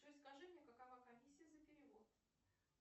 джой скажи мне какова комиссия за перевод